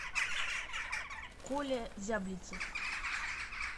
коля зяблицев